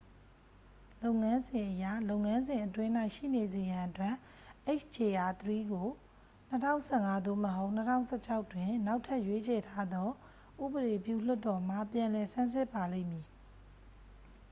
လုပ်ငန်းစဉ်အရ လုပ်ငန်းစဉ်အတွင်း၌ရှိနေစေရန်အတွက် hjr-3 ကို 2015 သို့မဟုတ် 2016 တွင် နောက်ထပ်ရွေးချယ်ထားသော ဥပဒေပြုလွှတ်တော်မှ ပြန်လည်ဆန်းစစ်ပါလိမ့်မည်